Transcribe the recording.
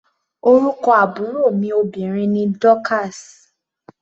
Orúkọ àbúrò mi obìnrin ni Dorcas.